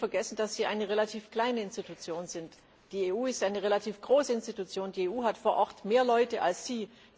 Man darf ja nie vergessen, dass Sie eine relativ kleine Institution sind. Die EU ist eine relativ große Organisation. Die EU hat vor Ort mehr Leute als